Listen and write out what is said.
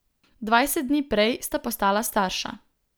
Dvajset dni prej sta postala starša.